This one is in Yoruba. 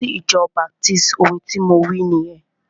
Lọ sí ìjọ baptisti! Ohun tí mo wí nìyẹn.